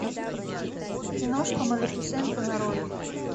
киношка малефисента нарой